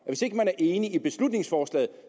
hvis ikke man er enig i beslutningsforslaget